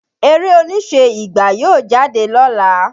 Eré oníṣe "Ìgbà" yóò jáde lọ́la.